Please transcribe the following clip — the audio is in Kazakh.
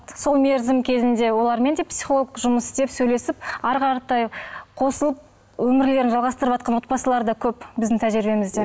сол мерзім кезінде олармен де психолог жұмыс істеп сөйлесіп әрі қаратай қосылып өмірлерін жалғастырыватқан да отбасылар да көп біздің тәжірибемізде